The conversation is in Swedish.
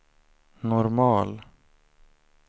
normal